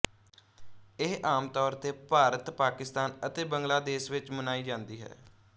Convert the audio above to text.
ਇਹ ਆਮ ਤੌਰ ਤੇ ਭਾਰਤ ਪਾਕਿਸਤਾਨ ਅਤੇ ਬੰਗਲਾ ਦੇਸ ਵਿੱਚ ਮਨਾਈ ਜਾਂਦੀ ਹੈ